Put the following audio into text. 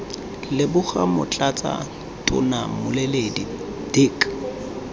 leboga motlatsa tona mmueledi dirk